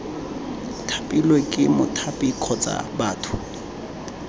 thapilwe ke mothapi kgotsa batho